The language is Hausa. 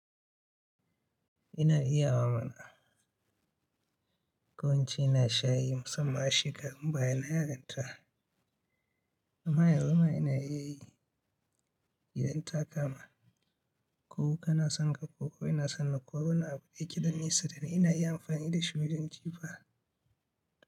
Ina iya wa mana. Ko in ce na sha yi musamman a shekarun baya na yarinta amma yanzu ma ina iya yi idan ta kama. Ko ka na san ka koko ina san na kwabo na abu ɗaya kiɗan nisa da ina iya amfani da shi wajen jifa.